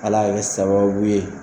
Ala le bɛ sababu ye